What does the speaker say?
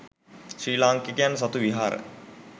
ශ්‍රී ලාංකිකයන් සතු විහාර